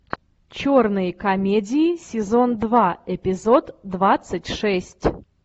черные комедии сезон два эпизод двадцать шесть